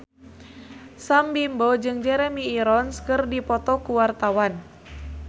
Sam Bimbo jeung Jeremy Irons keur dipoto ku wartawan